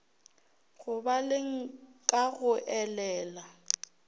go baleng ka go elela